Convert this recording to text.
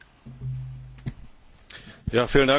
Herr Präsident, verehrte Kolleginnen und Kollegen!